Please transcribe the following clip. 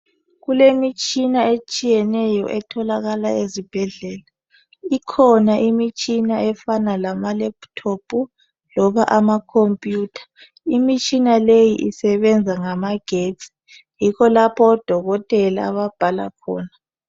Kulemitshina etshiyeneyo etholakala ezibhedlela. Ikhona imitshina efana lama"laptop" loba amakhompiyutha. Imitshina leyi isebenza ngamagetsi, yikho lapho odokotela ababhala khona.